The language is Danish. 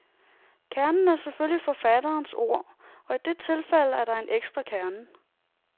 Kernen er selvfølgelig forfatterens ord, og i dette tilfælde er der en ekstra kerne.